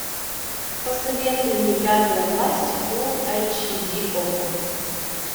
посоветуй мне пятая власть фулл айч ди окко